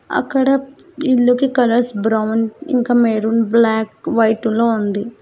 అక్కడ ఇల్లుకి కలర్స్ ఇంకా మెరూన్ బ్లాక్ వైట్ లో ఉంది.